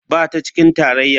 Ba ta cikin tarayya.